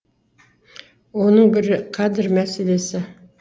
оның бірі кадр мәселесі